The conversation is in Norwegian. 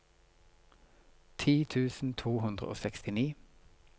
ti tusen to hundre og sekstini